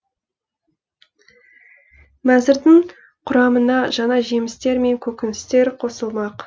мәзірдің құрамына жаңа жемістер мен көкөністер қосылмақ